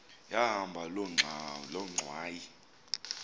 yahamba loo ngxwayi